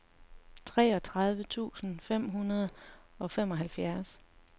treogtredive tusind fem hundrede og femoghalvfjerds